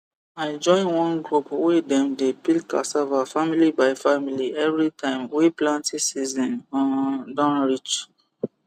i join one group wey dem dey peel cassava family by family every time wey planting season um don reach